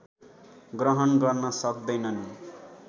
ग्रहण गर्न सक्दैनन्